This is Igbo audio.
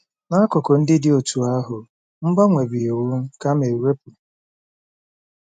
N'akụkụ ndị dị otú ahụ, mgbanwe bụ iwu kama ewepu.